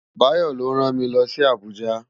Bayo ló rán mi lòsi Abuja